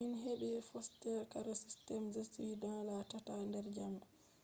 min heɓi foster care system je ɓukkoi la tata der jamo